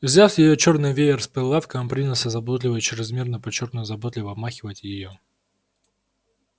взяв её чёрный веер с прилавка он принялся заботливо о чрезмерно подчёркнуто заботливо обмахивать её